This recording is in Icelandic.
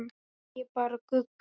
Segja bara Gugga.